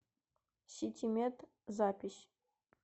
ситимед запись